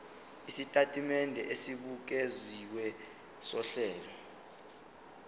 isitatimende esibukeziwe sohlelo